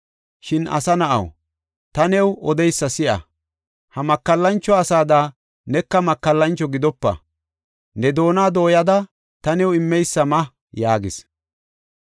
Shin, asa na7aw, ta new odeysa si7a. Ha makallancho asaada neka makallancho gidopa; ne doona dooyada ta new immeysa ma” yaagis.